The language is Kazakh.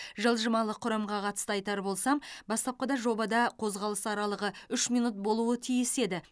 жылжымалы құрамға қатысты айтар болсам бастапқыда жобада қозғалыс аралығы үш минут болуы тиіс еді